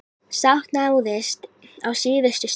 Sátt náðist á síðustu stundu.